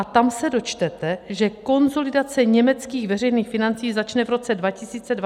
A tam se dočtete, že konsolidace německých veřejných financí začne v roce 2023 a potrvá 20 let.